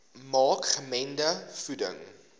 maak gemengde voeding